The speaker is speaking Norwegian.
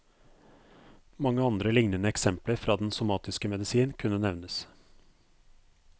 Mange andre lignende eksempler fra den somatiske medisin kunne nevnes.